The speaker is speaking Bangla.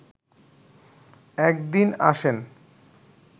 একদিন আসেন